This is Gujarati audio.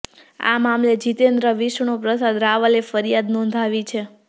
આ મામલે જીતેન્દ્ર વિષ્ણુ પ્રસાદ રાવલે ફરિયાદ નોંધાવી છે